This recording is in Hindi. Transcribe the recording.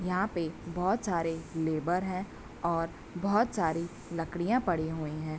यहाँ पे बहोत सारे लेबर हैं और बहोत सारी लकड़ियाँ पड़ी हुई हैं।